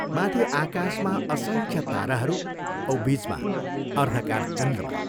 माथि आकाशमा असंख्य ताराहरू औ बीचमा अर्द्धकार चन्द्रमा!